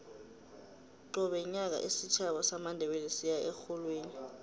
qobe nyaka isitjhaba samandebele siya erholweni